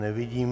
Nevidím.